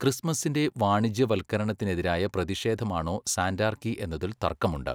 ക്രിസ്മസിന്റെ വാണിജ്യവൽക്കരണത്തിനെതിരായ പ്രതിഷേധമാണോ സാന്റാർക്കി എന്നതിൽ തർക്കമുണ്ട്.